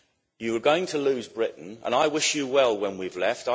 You are going to lose Britain, and I wish you well when we've left.